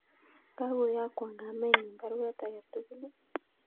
Kakoyokwon kamenyun baruet agetugul